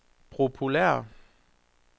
populære